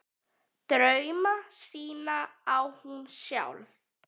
Drauma sína á hún sjálf.